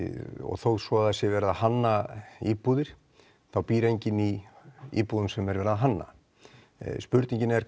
þó svo að það sé verið að hanna íbúðir þá býr enginn í íbúðum sem er verið að hanna spurningin er